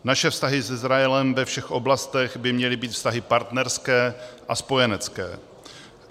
Naše vztahy s Izraelem ve všech oblastech by měly být vztahy partnerské a spojenecké.